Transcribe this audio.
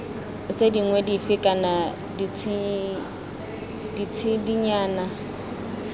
tse dingwe dife kana ditshedinyana